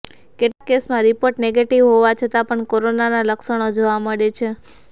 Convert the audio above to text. કેટલાક કેસમાં report negative હોવા છતાં પણ કોરોનાના લક્ષણો જોવા મળે છે